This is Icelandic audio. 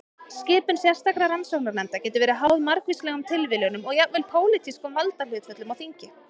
Skipun sérstakra rannsóknarnefnda getur verið háð margvíslegum tilviljunum og jafnvel pólitískum valdahlutföllum á þingi.